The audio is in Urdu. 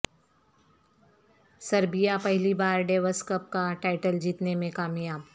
سربیا پہلی بار ڈیوس کپ کا ٹائٹل جیتنے میں کامیاب